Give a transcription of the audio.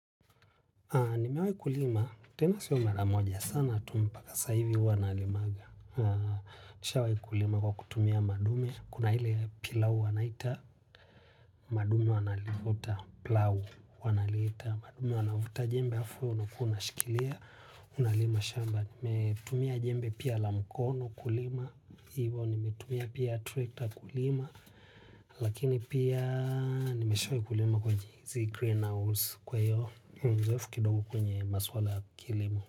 Nimewai kulima. Tena sio mara moja sana tu mpaka sahivi huwa nalimaga. Nishawai kulima kwa kutumia madume. Kuna ile pilau wanaita, madume wanalivuta pilau wanaliita. Madume wanavuta jembe halafu unakuwa unashikilia. Unalima shamba. Nimetumia jembe pia la mkono kulima. Hivo nimetumia pia tractor kulima. Lakini pia nimeshawahi kulima kwa jinsi green house. Kwa hiyo, ni mzoefu kidogo kwenye maswala ya kilimo.